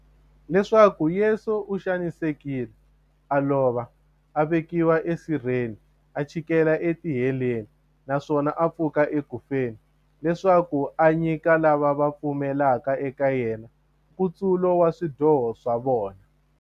Leswaku Yesu u xanisekile, a lova, a vekiwa e sirheni, a chikela e tiheleni, naswona a pfuka eku feni, leswaku a nyika lava va pfumelaka eka yena, nkutsulo wa swidyoho swa vona.